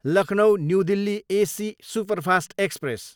Lucknow, New Delhi AC superfast express